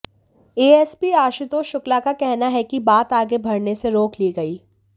ASP Ashutosh Shukla का कहना है कि बात आगे बढ़ने से रोक ली गई